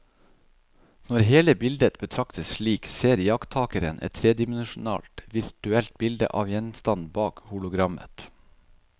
Når hele bildet betraktes slik, ser iakttakeren et tredimensjonalt virtuelt bilde av gjenstanden bak hologrammet.